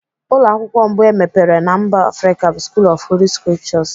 Ụlọ akwụkwọ mbụ emepere na mba Afrịka bụ School of Holy scriptures.